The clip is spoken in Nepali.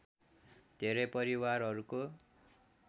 धेरै परिवारहरूको